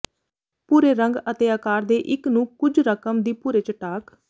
ਭੂਰੇ ਰੰਗ ਅਤੇ ਆਕਾਰ ਦੇ ਇੱਕ ਨੂੰ ਕੁਝ ਰਕਮ ਦੀ ਭੂਰੇ ਚਟਾਕ